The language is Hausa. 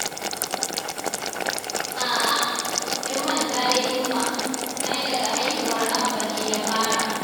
A'a, kin manta dai Umma, ai daga haihuwar Abba ne ya fara.